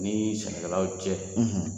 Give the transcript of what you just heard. Ni sɛnɛkɛlaw cɛ